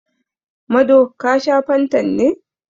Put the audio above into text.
Mado, ka sha fantan ne?